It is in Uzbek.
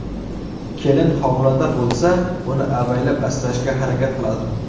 Kelin homilador bo‘lsa, uni avaylab-asrashga harakat qiladi.